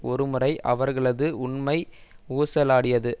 ஒரு முறை அவர்களது உண்மை ஊசலாடியது